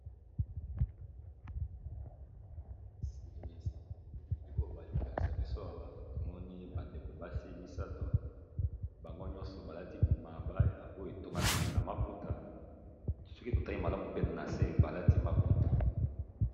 lili oyo bali kolakisa biso ora tomoni bandeko basi misato bango nyonso balati mabaya oyo etongami na maputa soki totali malamu pe na se balati maputa